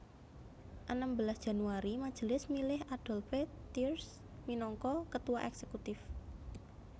Enem belas Januari Majelis milih Adolphe Thiers minangka Ketua Èksekutif